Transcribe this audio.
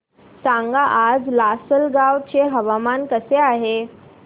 सांगा आज लासलगाव चे हवामान कसे आहे